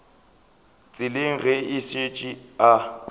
tseleng ge a šetše a